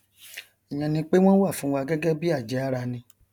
ìyẹn ni pé wọn wà fúnwa gẹgẹ bí àjẹára ni